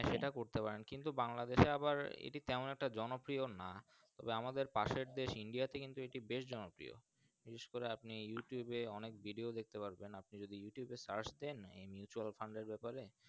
সেটা করতে পারেন কিন্তু বাংলাদেশএ তেমন একটা জন প্রিয় না এবং পাশের দেশ India তে কিন্তু বেশ জন প্রিয় বিশেষ করে আপনি Youtub এ অনেক Video দেখতে পারবেন আপনি যদি Youtub এ Search দেন